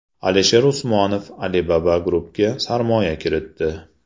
Alisher Usmonov Alibaba Group’ga sarmoya kiritdi.